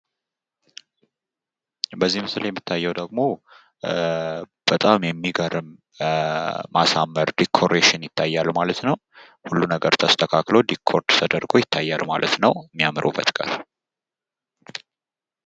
በዚህ ምስል ላይ የሚታዬው ደግሞ በጣም የሚገርም ማሳመር ዲኩሬሽን ይታያል ማለት ነው። ሁሉ ነገር ተስተካክሎ ዲኮር ተደርጎ ይታያል ማለት ነው ከሚያምር ውበት ጋር።